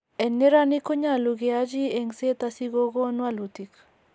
En neranik konyolu kyachi engset asikogon walutik